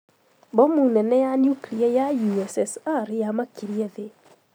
Bomu nene ria nuklia ya USSR rĩamakirie thĩĩ